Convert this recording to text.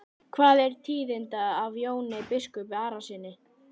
Hvað er tíðinda af Jóni biskupi Arasyni?